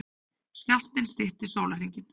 Skjálftinn stytti sólarhringinn